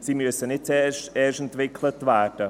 Sie müssen nicht erst entwickelt werden.